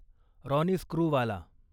Ronnie Screwvala